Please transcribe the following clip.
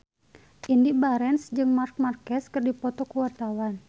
Indy Barens jeung Marc Marquez keur dipoto ku wartawan